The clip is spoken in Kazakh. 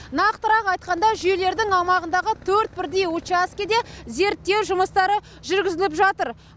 нақтырақ айтқанда жүйелердің аумағындағы төрт бірдей учаскеде зерттеу жұмыстары жүргізіліп жатыр